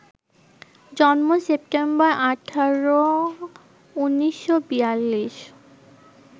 জন্ম সেপ্টেম্বর ১৮, ১৯৪২